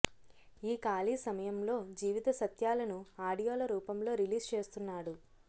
ఈ ఖాళీ సమయంలో జీవిత సత్యాలను ఆడియోల రూపంలో రిలీజ్ చేస్తున్నాడు